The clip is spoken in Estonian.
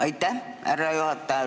Aitäh, härra juhataja!